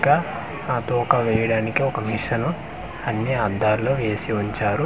గా ఆ తోక వేయడానికి ఒక మిషను అన్ని అద్దాలు వేసి ఉంచారు.